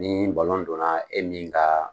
Nii donna e min kaa